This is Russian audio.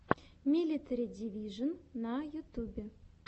милитари дивижон на ютюбе